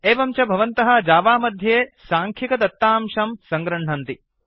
एवं च भवन्तः जावा मध्ये साङ्ख्यिकदत्तांशं सङ्गृह्णन्ति